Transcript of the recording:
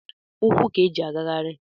ukwu ka eji agagharị